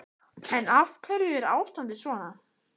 En af hverju er ástandið svona?